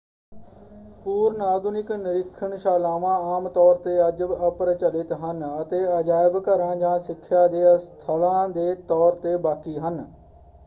ਪੂਰਵ-ਆਧੁਨਿਕ ਨਿਰੀਖਣਸ਼ਾਲਾਵਾਂ ਆਮ ਤੌਰ 'ਤੇ ਅੱਜ ਅਪ੍ਰਚਲਿਤ ਹਨ ਅਤੇ ਅਜਾਇਬ ਘਰਾਂ ਜਾਂ ਸਿੱਖਿਆ ਦੇ ਸਥਲਾਂ ਦੇ ਤੌਰ 'ਤੇ ਬਾਕੀ ਹਨ।